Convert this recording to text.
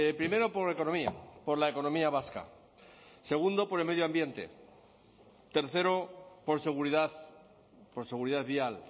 primero por economía por la economía vasca segundo por el medio ambiente tercero por seguridad por seguridad vial